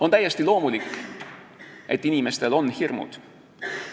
On täiesti loomulik, et inimestel on hirmud.